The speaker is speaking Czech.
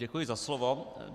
Děkuji za slovo.